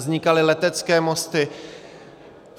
Vznikaly letecké mosty.